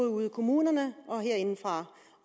ude i kommunerne og herindefra